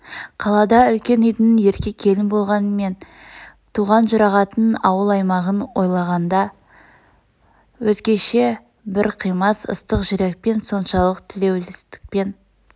қалада үлкен үйдң ерке келін болғанмен туған жұрағатын ауыл-аймағын ойлағанда өзгеше бр қимас ыстық жүрекпен соншалық тілеулестікпен